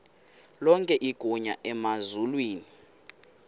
lonke igunya emazulwini